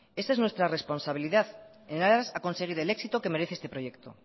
esa es nuestra responsabilidad en aras a conseguir el éxito que merece este proyecto